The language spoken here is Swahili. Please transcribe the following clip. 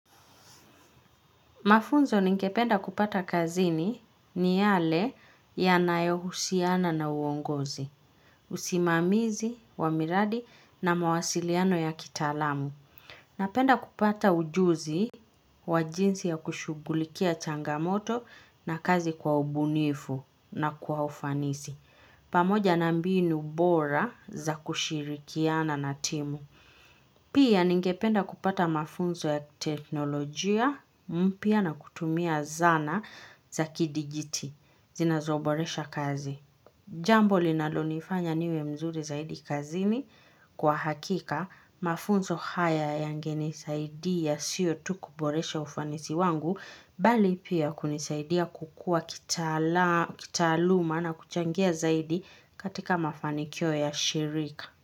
Mafunzo ningependa kupata kazini ni yale ya nayohusiana na uongozi, usimamizi, wamiradi na mawasiliano ya kitalamu. Napenda kupata ujuzi wa jinsi ya kushugulikia changamoto na kazi kwa ubunifu na kwa ufanisi. Pamoja na mbinu bora za kushirikiana na timu. Pia ningependa kupata mafunzo ya teknolojia mpia na kutumia zana za kidigiti zinazoboresha kazi. Jambo linalonifanya niwe mzuri zaidi kazini kwa hakika mafunzo haya yangeni saidia sio tu kuboresha ufanisi wangu bali pia kunisaidia kukua kitaluma na kuchangia zaidi katika mafanikio ya shirika.